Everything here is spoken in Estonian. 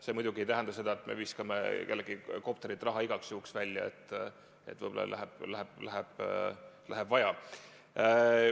See muidugi ei tähenda, et me viskame kellelegi kopterilt igaks juhuks raha, et võib-olla läheb vaja.